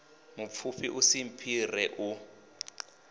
mupfufhi u si mphire u